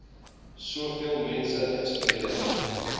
soveel mense inspireer